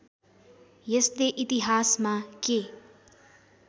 यसले इतिहासमा के